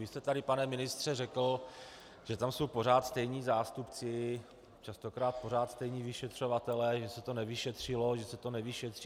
Vy jste tady, pane ministře, řekl, že tam jsou pořád stejní zástupci, častokrát pořád stejní vyšetřovatelé, že se to nevyšetřilo, že se to nevyšetří.